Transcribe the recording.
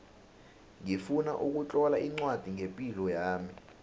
ngifuna ukutlola ncwadi ngepilo yami